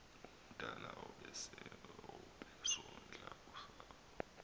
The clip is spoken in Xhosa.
omdala obesondla usapho